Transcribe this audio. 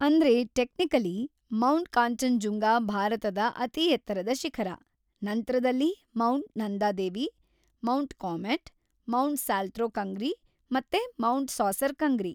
ಅಂದ್ರೆ, technically, mount Kanchenjunga ಭಾರತದ ಅತಿಎತ್ತರದ ಶಿಖರ, ನಂತ್ರದಲ್ಲಿ mount Nanda Devi, mount Kamet, mount Saltoro Kangri, ಮತ್ತೆ ಮೌಂಟ್‌ ಸಾಸೆರ್‌ ಕಂಗ್ರಿ.